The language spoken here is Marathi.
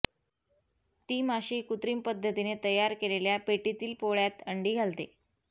ती माशी कुत्रीम पद्धतीने तयार केलेल्या पेटीतील पोळ्यात अंडी घालते